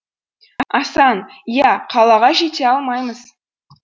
асан иә қалаға жете алмаймыз